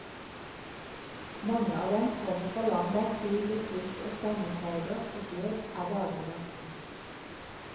Mange av dem kommer fra land der krig og sult og stammefeider og død er dagligdags kost.